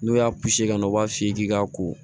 N'o y'a ka na u b'a f'i ye k'i ka ko